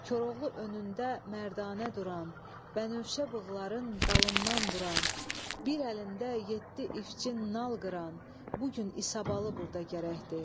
Koroğlu önündə mərdanə duran, bənövşə bığların dalından buran, bir əlində yeddi iççin nal qıran, bu gün İsabalı burda gərəkdir.